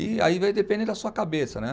E aí vai depender da sua cabeça, né?